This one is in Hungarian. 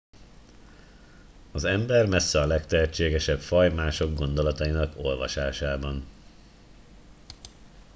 az ember messze a legtehetségesebb faj mások gondolatainak olvasásában